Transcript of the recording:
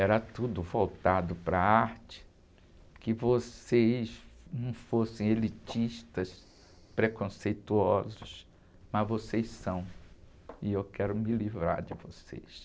era tudo voltado para a arte, que vocês não fossem elitistas, preconceituosos, mas vocês são, e eu quero me livrar de vocês.